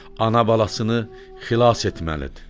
Ana balasını xilas etməlidir.